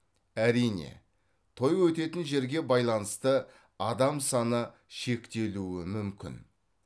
әрине той өтетін жерге байланысты адам саны шектелуі мүмкін